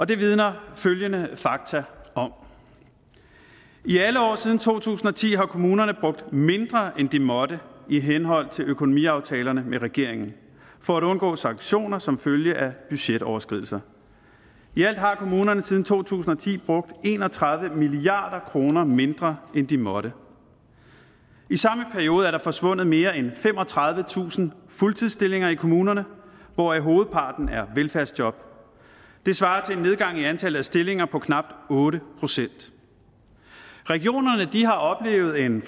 det vidner følgende fakta om i alle år siden to tusind og ti har kommunerne brugt mindre end de måtte i henhold til økonomiaftalerne med regeringen for at undgå sanktioner som følge af budgetoverskridelser i alt har kommunerne siden to tusind og ti brugt en og tredive milliard kroner mindre end de måtte i samme periode er der forsvundet mere en femogtredivetusind fuldtidsstillinger i kommunerne hvoraf hovedparten af velfærdsjob det svarer til en nedgang i antallet af stillinger på knap otte procent regionerne har oplevet en